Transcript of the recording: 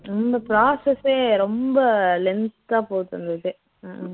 இந்த process ஏ ரொம்ப length ஆ போகுது இந்த இதே உம்